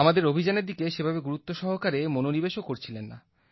আমাদের অভিযানের দিকে সেভাবে গুরুত্ব সহকারে মনোনিবেশও করছিলেন না